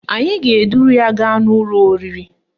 Anyị ga-eduru ya gaa n'ụlọ oriri